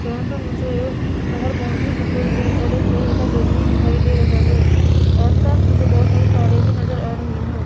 यहां पे मुझे एक बाहर बाउंड्री दिख रही है और एक लोहे का गेट भी दिखाई दे रहा है। आसपास मुझे बहोत सारी तारे भी नज़र आ रही है।